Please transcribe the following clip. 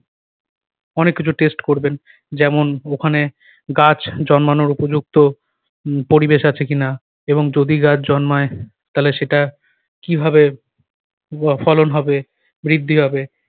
অনেক কিছু test করবেন যেমন ওখানে গাছ জন্মানোর উপযুক্ত উহ পরিবেশ আছে কি-না এবং যদি গাছ জন্মায় তালে সেটা কিভাবে উহ ফলন হবে, বৃদ্ধি হবে।